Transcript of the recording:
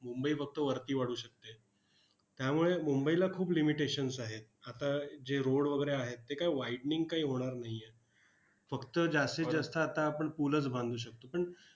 मुंबई फक्त वरती वाढू शकते. त्यामुळे मुंबईला खूप limitations आहेत. आता जे road वगैरे आहेत, ते काय widening काही होणार नाही आहेत. फक्त जास्तीत जास्त आता आपण पूलच बंधू शकतो. पण,